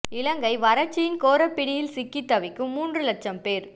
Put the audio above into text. இலங்கை வறட்சியின் கோரப் பிடியில் சிக்கித் தவிக்கும் மூன்று லட்சம் பேர்